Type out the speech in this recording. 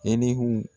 Elegu